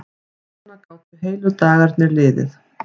Svona gátu heilu dagarnir liðið.